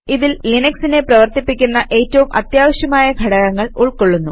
ഇതിൽ ലിനക്സിനെ പ്രവർത്തിപ്പിക്കുന്ന ഏറ്റവും അത്യാവശ്യമായ ഘടകങ്ങൾ ഉൾക്കൊള്ളുന്നു